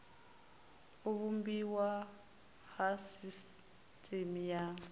u vhumbiwa ha sisiteme ya